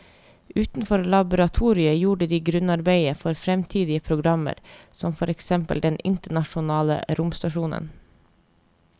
Utenfor laboratoriet gjorde de grunnarbeidet for fremtidige programmer som for eksempel den internasjonale romstasjonen.